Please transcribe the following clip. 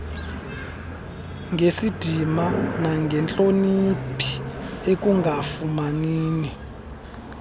ngesidima nangentloniphi ekungafanini